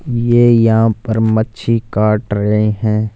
ये यहां पर मच्छी काट रहे हैं।